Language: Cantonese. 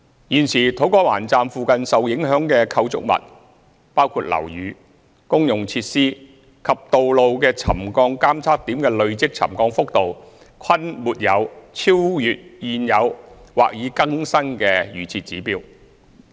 現時土瓜灣站附近受影響的構築物，包括樓宇、公用設施及道路的沉降監測點的累積沉降幅度，均沒有超越現有或已更新的預設指標。